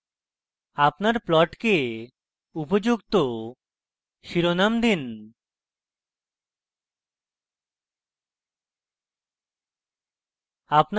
আপনার প্লটকে উপযুক্ত শিরোনাম দিন